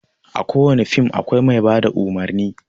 A ko wane fim akwai mai bada umurni.